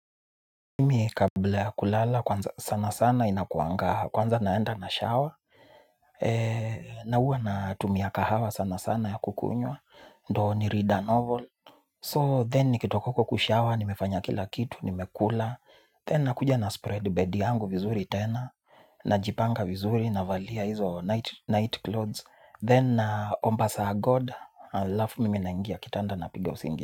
Mimi kabla ya kulala, kwanza sana sana inakuanga, kwanza naenda na shower. Na hua natumia kahawa sana sana ya kukunywa, ndo ni read a novel So then nikitoka huko kushower, nimefanya kila kitu, nimekula Then nakuja naspread bed yangu vizuri tena, najipanga vizuri, navalia hizo night clothes Then naomba sir god, alafu mimi naingia, kitanda napigi usingizi.